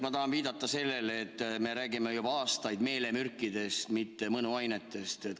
Ma tahan viidata sellele, et me räägime juba aastaid meelemürkidest, mitte mõnuainetest.